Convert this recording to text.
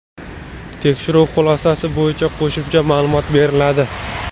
Tekshiruv xulosasi bo‘yicha qo‘shimcha ma’lumot beriladi.